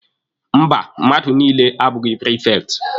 Mba, mmadụ niile abụghị prifekti.